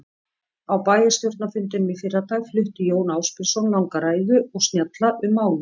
Á bæjarstjórnarfundinum í fyrradag flutti Jón Ásbjörnsson langa ræðu og snjalla um málið.